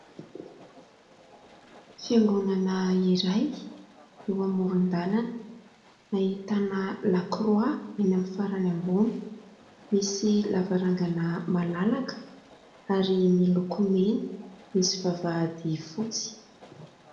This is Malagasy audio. Fiangonana iray eo amoron-dalana ahitana lakroa eny amin'ny farany ambony, misy lavarangana malalaka ary miloko mena misy vavahady fotsy.